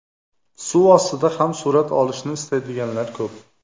Suv ostida ham surat olishni istaydiganlar ko‘p.